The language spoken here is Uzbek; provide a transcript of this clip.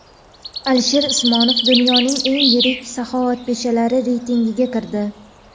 Alisher Usmonov dunyoning eng yirik saxovatpeshalari reytingiga kirdi.